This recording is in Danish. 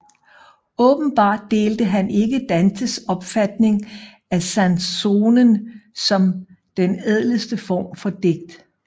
Åbenbart delte han ikke Dantes opfatning af canzonen som den ædleste form for digt